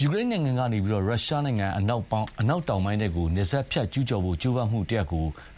ယူကရိန်းနိုင်ငံကနေ ရုရှားနိုင်ငံအနောက်တောင်ပိုင်းထဲကို နယ်စပ်ဖြတ်ကျူးကျော်ဖို့ ကြိုးပမ်းမှုကို